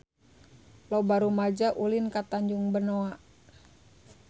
Loba rumaja ulin ka Tanjung Benoa